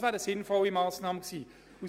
Das wäre eine sinnvolle Massnahme gewesen.